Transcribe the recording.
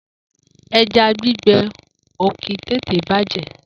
Eja Gbigbe òki tètè bajẹ